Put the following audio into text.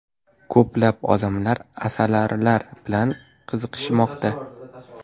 Ko‘plab odamlar asalarilar bilan qiziqishmoqda.